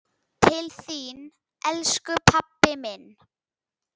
Til þín, elsku pabbi minn.